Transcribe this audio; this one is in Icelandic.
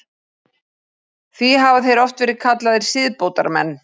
Því hafa þeir oft verið kallaðir siðbótarmenn.